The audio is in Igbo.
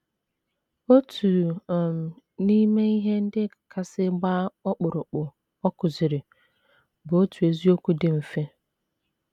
Otu um n’ime ihe ndị kasị gbaa ọkpụrụkpụ ọ kụziri bụ otu eziokwu dị mfe.